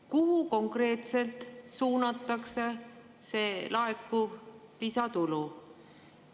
Kuhu konkreetselt suunatakse see laekuv lisatulu?